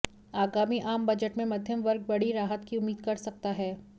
आगामी आम बजट में मध्यम वर्ग बड़ी राहत की उम्मीद कर सकता है